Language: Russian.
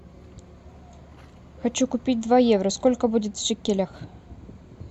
хочу купить два евро сколько будет в шекелях